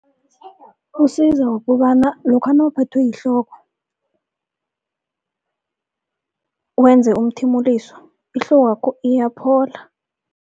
Usiza ngokobana lokha nawuphethwe yihloko, wenze umthimuliso ihlokwakho iyaphola.